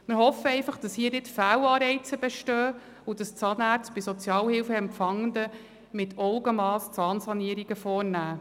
Wir hoffen einfach, dass hier nicht Fehlanreize bestehen und Zahnärzte bei Sozialhilfeempfangenden Zahnsanierungen mit Augenmass vornehmen.